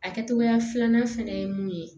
A kɛcogoya filanan fɛnɛ ye mun ye